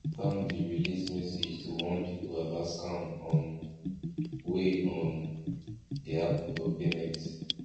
bank dem release message to warn people about scam um wey um dey happen for payment